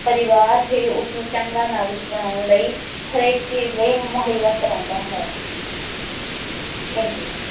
ਪਰਿਵਾਰ ਹੀ ਉਸਨੂੰ ਚੰਗਾ ਨਾਗਰਿਕ ਬਣਾਉਣ ਲਈ ਹਰੇਕ ਚੀਜ਼ ਲਈ ਮੁਹੱਈਆ ਕਰਾਉਂਦਾ ਹੈ thank you